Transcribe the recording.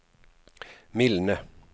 mildne